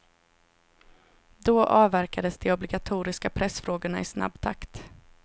Då avverkades de obligatoriska pressfrågorna i snabb takt.